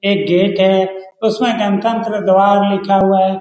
एक गेट है उसमें गनतंत्र द्वार लिखा हुआ है।